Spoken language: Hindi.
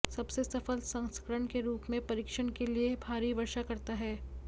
सबसे सफल संस्करण के रूप में परीक्षण के लिए भारी वर्षा करता है